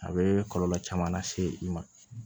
A bɛ kɔlɔlɔ caman lase i ma